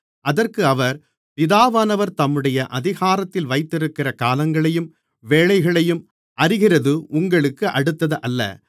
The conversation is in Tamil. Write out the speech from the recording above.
அதற்கு அவர் பிதாவானவர் தம்முடைய அதிகாரத்தில் வைத்திருக்கிற காலங்களையும் வேளைகளையும் அறிகிறது உங்களுக்கு அடுத்ததல்ல